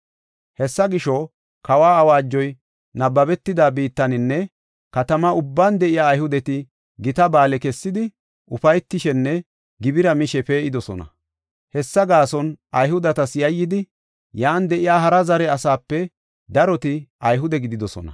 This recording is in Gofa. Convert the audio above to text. Hessa gisho, kawa awaajoy nabbabetida biittaninne katamaa ubban de7iya Ayhudeti gita ba7aale kessidi, ufaytishenne gibira mishe pee7idosona. Hessa gaason Ayhudetas yayyidi, yan de7iya hara zare asaape daroti Ayhude gididosona.